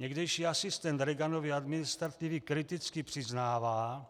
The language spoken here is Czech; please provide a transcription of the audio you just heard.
Někdejší asistent Reaganovy administrativy kriticky přiznává,